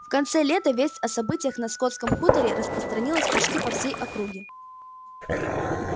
в конце лета весть о событиях на скотском хуторе распространилась почти по всей округе